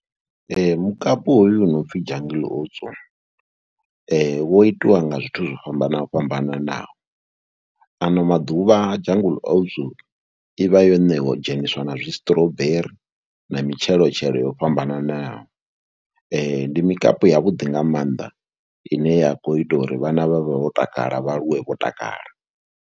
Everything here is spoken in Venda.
Mukapu hoyo u no pfhi Jungle Oats wo itiwa nga zwithu zwo fhambana fhambananaho. Ano maḓuvha Jungle Oats I vha yo ṋewa dzheniswa na zwistrawberry na mitshelotshelo yo fhambananaho. Ndi mikapu yavhuḓi nga maanḓa ine ya khou ita uri vhana vha vhe vho takala vha aluwe vho takala.